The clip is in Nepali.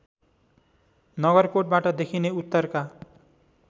नगरकोटबाट देखिने उत्तरका